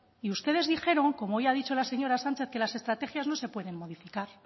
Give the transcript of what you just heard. y ustedes dijeron como hoy ha dicho la señora sánchez que las estrategias no se pueden modificar